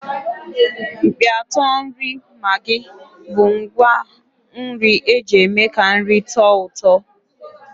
Mkpịatọ nri maggi bụ ngwá nri eji eme ka nri tọọ ụtọ.